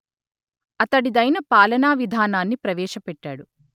అతడిదైన పాలనా విధానాన్ని ప్రవేశపెట్టాడు